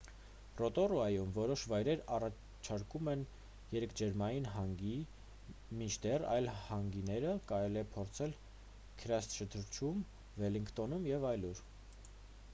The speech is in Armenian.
ռոտորուայում որոշ վայրեր առաջարկում են երկրաջերմային հանգի մինչդեռ այլ հանգիները կարելի է փորձել քրայսթչըրչում վելլինգտոնում և այլուր